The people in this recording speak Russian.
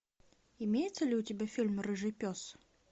имеется ли у тебя фильм рыжий пес